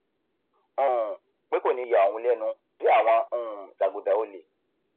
um pé kò ní yà òun lẹnu tí àwọn um jàgùdà olè